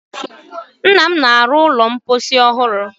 Nnam na-arụ ụlọ mposi ọ hụrụ.